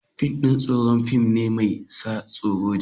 Fim ɗin tsoro fim ne mai sa tsoro.